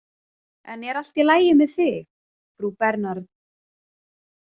En er allt í lagi með þig, frú Bernard?